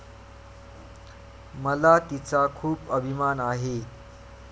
मला तिचा खूप अभिमान आहे.